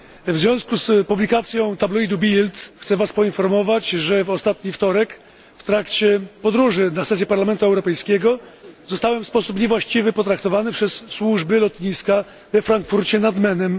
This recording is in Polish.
W związku z publikacją tabloidu Bild chcę Was poinformować, że we wtorek, w trakcie podróży na sesję Parlamentu Europejskiego, zostałem w sposób niewłaściwy potraktowany przez służby lotniska we Frankfurcie nad Menem.